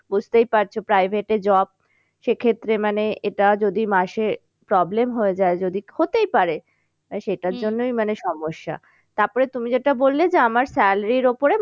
বুঝতেই পারছো private এ job সে ক্ষেত্রে মানে এটা যদি মাসে problem হয়ে যায় যদি হতেই পারে। তাই সেটার মানে সমস্যা। তারপরে তুমি যেটা বললে যে আমার salary র ওপরে